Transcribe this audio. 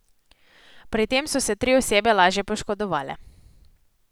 Pri tem so se tri osebe lažje poškodovale.